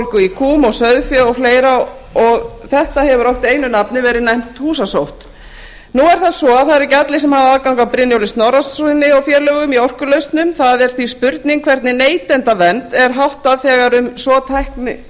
júgurbólgu í kúm og sauðfé og fleiri og þetta hefur oft einu nafni verið nefnt húsasótt nú er það svo að það eru ekki allir sem hafa aðgang að brynjólfi snorrasyni og félögum í orkulausnum það er því spurning hvernig neytendavernd er háttað þegar um svo tæknilegt